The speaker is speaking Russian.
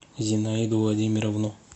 зинаиду владимировну